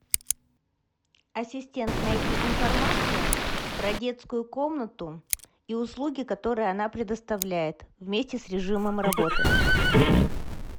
ассистент найди информацию про детскую комнату и услуги которые она предоставляет вместе с режимом работы